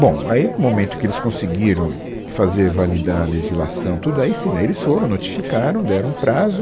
Bom, aí no momento que eles conseguiram fazer, validar a legislação, tudo aí sim, daí eles foram, notificaram, deram um prazo.